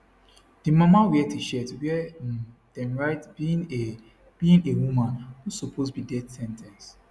di mama wear tshirt wia um dem write being a being a woman no suppose be death sen ten ce